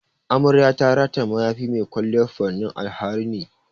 Amarya ta rataya mayafi mai kwalliyar furannin alharini.